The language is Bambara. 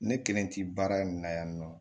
Ne kelen ti baara in na yan nɔ